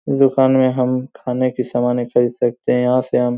दुकान में हम खाने की सामाने खरीद सकते है यहाँ से हम --